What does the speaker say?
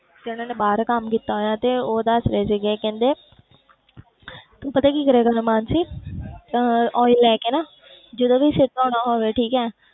ਤੇ ਉਹਨਾਂ ਨੇ ਬਾਹਰ ਕੰਮ ਕੀਤਾ ਹੋਇਆ ਤੇ ਉਹ ਦੱਸ ਰਹੇ ਸੀਗੇ ਕਹਿੰਦੇ ਤੂੰ ਪਤਾ ਕੀ ਕਰਿਆ ਕਰ ਮਾਨਸੀ ਤਾਂ oil ਲੈ ਕੇ ਨਾ ਜਦੋਂ ਵੀ ਸਿਰ ਧੌਣਾ ਹੋਵੇ ਠੀਕ ਹੈ,